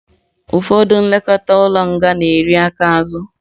Ụfọdụ ndị nlekọta ụlọ nga na-eri aka azụ